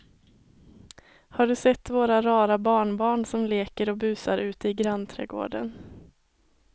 Har du sett våra rara barnbarn som leker och busar ute i grannträdgården!